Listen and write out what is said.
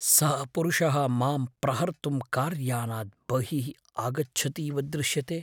सः पुरुषः माम् प्रहर्तुं कार्यानात् बहिः आगच्छति इव दृश्यते।